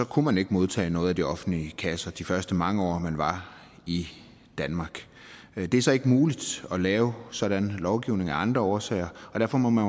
kunne man ikke modtage noget fra de offentlige kasser de første mange år man var i danmark det er så ikke muligt at lave sådan en lovgivning af andre årsager og derfor må man